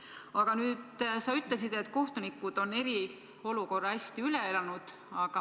Aga sa ütlesid, et kohtunikud on eriolukorra hästi üle elanud.